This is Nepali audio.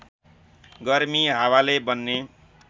गर्मी हावाले बन्ने